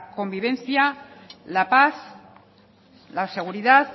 convivencia la paz la seguridad